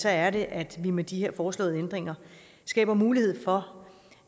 er det at vi med de her foreslåede ændringer skaber mulighed for